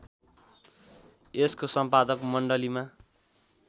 यसको सम्पादक मण्डलीमा